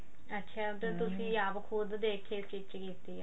ਅੱਛਾ ਮਤਲਬ ਤੁਸੀਂ ਲੈਕੇ ਆਪ ਖੁਦ ਦੇਖ ਕੇ stich ਕੀਤੀ ਆ